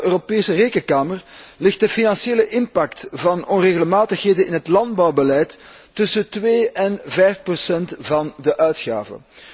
Volgens de Europese Rekenkamer ligt de financiële impact van onregelmatigheden in het landbouwbeleid tussen 2 en 5 van de uitgaven.